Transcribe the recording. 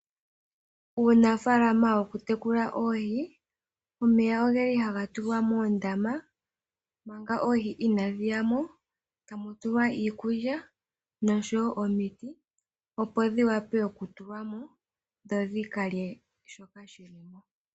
Uunafaalama wokutekula oohi, omeya ogeli haga tulwa moondama, manga oohi inaadhi yamo, tamu tulwa iikulya, noshowo omiti, opo dhiwape okutulwamo, dho dhikalye shoka shilimo.